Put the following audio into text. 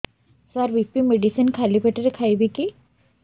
ସାର BP medicine ଖାଲି ପେଟରେ ଖାଇବି କି